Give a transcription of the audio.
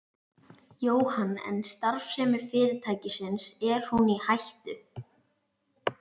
Jóhann: En starfsemi fyrirtækisins, er hún í hættu?